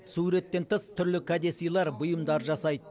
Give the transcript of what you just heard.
суреттен тыс түрлі кәдесыйлар бұйымдар жасайды